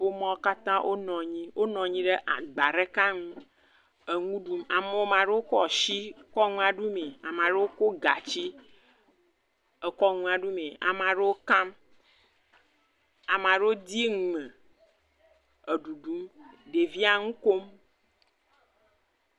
Ƒomeawo katã wonɔ anyi ɖe agba ɖeka ŋu eŋu ɖum. Ama ɖewo kɔ shi kɔ ŋua ɖu mee. Ama ɖewo kɔ gatsi ekɔ ŋua ɖu mee. Ama ɖewo kam, ama ɖewo dii ŋume eɖuɖum, ɖevia ŋukom.